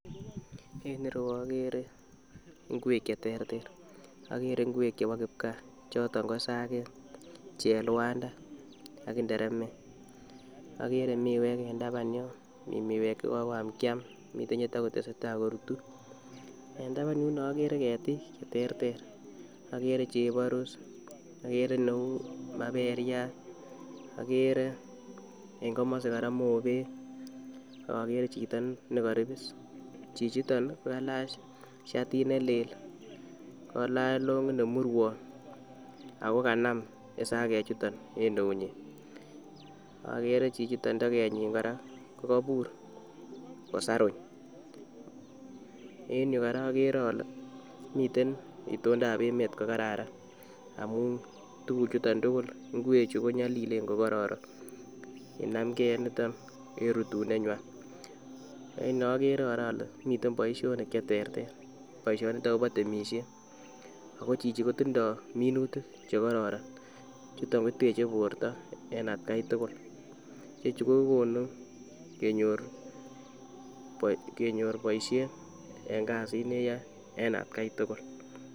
En ireyuu okere ingwet cheterter okere ingwek chebo kipgaa ,choton ko isakek, cheluanda ak interemek okere miwek en taban yon mii miwek chekokoam kiam mii chetokotesetai korutu, en taban yuun okere ketik cheterter, okere cheporus okere neu maperiat okere en komosi koraa mobek ak okere chito nekoribis chichiton ko kailach shatit nelel kolach longit nemurwong ako kanam isakek chuton en eunyin, akere chichiton tokenyin koraa ko kibur kosarung. En yuu koraa okere ole miten itondap emet ko kararan ngamun tukuk chuton tukul, ingwek chuu ko nyolilen ko kororon kinam gee niton en rutune nywan neokere koraa ole miten boishonik cheterter boishoniton kobo temishet ako chichi kotindo minutik chekororon chuton koteche borto en atgai tukul chuton kokonu kenyor boishet en kasit neyoe en atgai tukul.